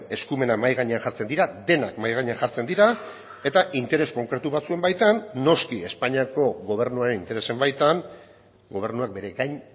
eskumena mahai gainean jartzen dira denak mahai gainean jartzen dira eta interes konkretu batzuen baitan noski espainiako gobernuaren interesen baitan gobernuak bere gain